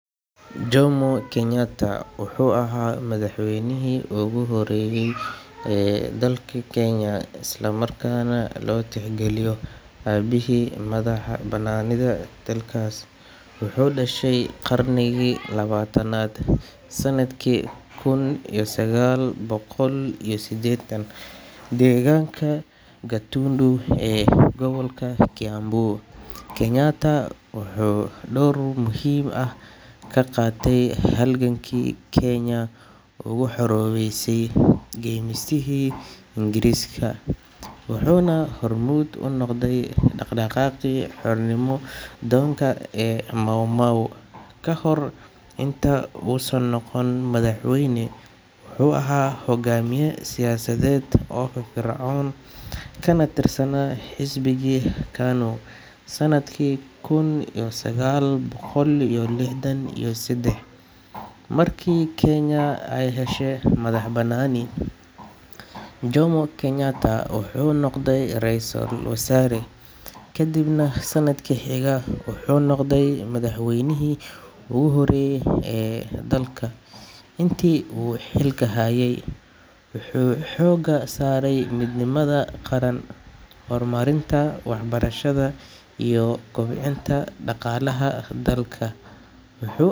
Jomo Kenyatta wuxuu ahaa madaxweynihii ugu horreeyay ee dalka Kenya isla markaana loo tixgaliyo aabihii madax-bannaanida dalkaas. Wuxuu dhashay qarnigii labaatanaad, sanadkii kun iyo sagaal boqol iyo siddeetan, deegaanka Gatundu ee gobolka Kiambu. Kenyatta wuxuu door muhiim ah ka qaatay halgankii Kenya uga xoroobeysay gumeystihii Ingiriiska, wuxuuna hormuud u noqday dhaqdhaqaaqii xornimo doonka ee Mau Mau. Kahor inta uusan noqon madaxweyne, wuxuu ahaa hoggaamiye siyaasadeed oo firfircoon kana tirsanaa xisbigii KANU. Sannadkii kun iyo sagaal boqol iyo lixdan iyo seddex, markii Kenya ay heshay madax-bannaani, Jomo Kenyatta wuxuu noqday ra’iisul wasaare, kadibna sannadkii xiga wuxuu noqday madaxweynihii ugu horreeyay ee dalka. Intii uu xilka hayay, wuxuu xoogga saaray midnimada qaran, horumarinta waxbarashada, iyo kobcinta dhaqaalaha dalka. Wuxuu.